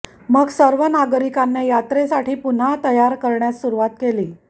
मग सर्व नागरिकांना यात्रेसाठी पुन्हा तयार करण्यास सुरुवात केली